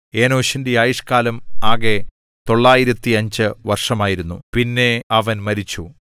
ഏനോശിന്റെ ആയുഷ്കാലം ആകെ 905 വർഷമായിരുന്നു പിന്നെ അവൻ മരിച്ചു